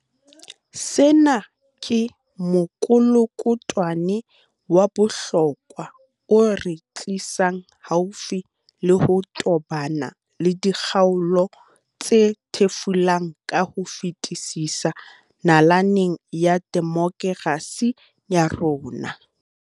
Sena ke mokolokotwane wa bohlokwa o re tlisang haufi le ho tobana le dikgaolo tse thefulang ka ho fetisisa nalaneng ya demokerasi ya rona.